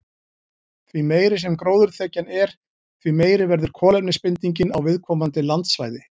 Því meiri sem gróðurþekjan er, því meiri verður kolefnisbindingin á viðkomandi landsvæði.